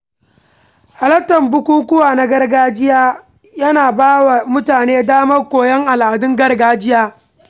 Halartar bukukuwa na gargajiya yana ba wa mutane damar koyon al’adun gargajiya.